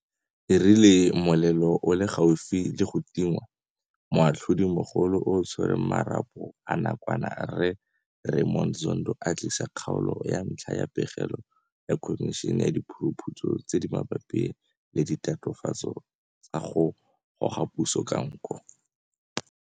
E rile molelo o setse o le gaufi le go tingwa, Moatlhodimogolo yo a Tshwereng Marapo a Nakwana Rre Raymond Zondo a tlisa kgaolo ya ntlha ya pegelo ya Khomišene ya Diphuruphutso tse di Mabapi le Ditatofatso tsa go Goga Puso ka Nko.